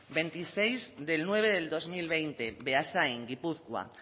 veintinueve de septiembre de dos mil veinte beasain gipuzkoa